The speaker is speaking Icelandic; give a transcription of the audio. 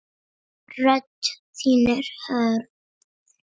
Rödd þín er hörð.